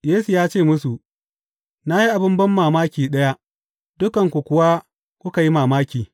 Yesu ya ce musu, Na yi abin banmamaki ɗaya, dukanku kuwa kuka yi mamaki.